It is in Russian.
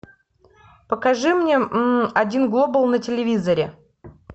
покажи мне один глобал на телевизоре